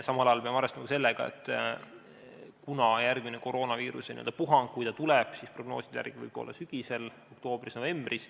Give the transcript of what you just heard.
Samal ajal peame arvestama sellega, et kui järgmine koroonaviiruse puhang tuleb, siis võib see prognooside järgi olla sügisel, oktoobris-novembris.